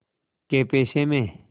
कै पैसे में